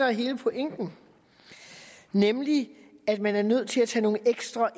er hele pointen nemlig at man er nødt til at tage nogle ekstra